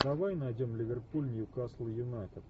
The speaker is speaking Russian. давай найдем ливерпуль ньюкасл юнайтед